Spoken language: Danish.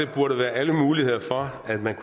burde være alle muligheder for at man